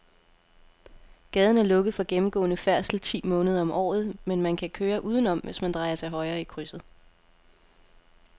Gaden er lukket for gennemgående færdsel ti måneder om året, men man kan køre udenom, hvis man drejer til højre i krydset.